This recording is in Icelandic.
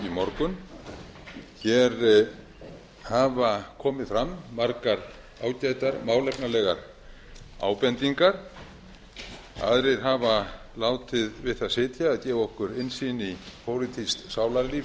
morgun hér hafa komið fram margar ágætar málefnalegar ábendingar aðrir hafa látið við það sitja að gefa okkur innsýn í pólitískt sálarlíf